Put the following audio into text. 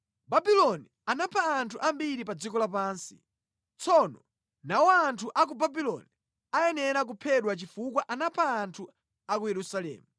“Babuloni anapha anthu ambiri pa dziko lapansi. Tsono, nawo anthu a ku Babuloni ayenera kuphedwa chifukwa anapha anthu a ku Yerusalemu.